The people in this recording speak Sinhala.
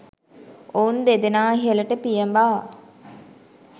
ඔවුන් දෙදෙනා ඉහළට පියඹා